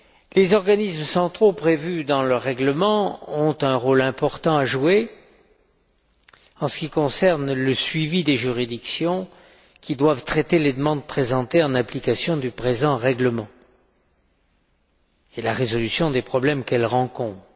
Les organismes centraux prévus dans ledit règlement ont un rôle important à jouer en ce qui concerne le suivi des juridictions qui doivent traiter les demandes présentées en application du présent règlement, et la résolution des problèmes qu'elles rencontrent.